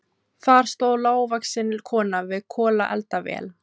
Þar stóð lágvaxin kona við kolaeldavél.